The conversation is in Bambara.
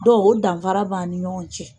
Dɔn o danfara b'an ni ɲɔgɔn cɛ.